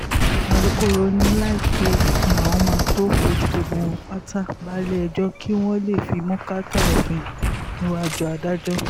alūkkóró ni láìpẹ́ yìí làwọn máa tóó fojú gbogbo wọn pátá balẹ̀-ẹjọ́ kí wọ́n lè fimú kàtà òfin níwájú adájọ́